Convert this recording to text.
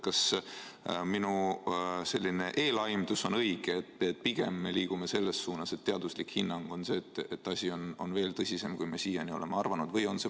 Kas minu eelaimdus on õige, et pigem me liigume selles suunas, et teaduslik hinnang, kogu see asi on veel tõsisem, kui me siiani oleme arvanud?